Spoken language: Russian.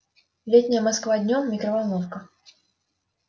летняя москва днём микроволновка